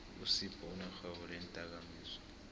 usiphou unerhwebo leendakamizwa